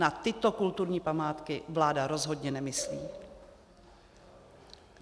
Na tyto kulturní památky vláda rozhodně nemyslí.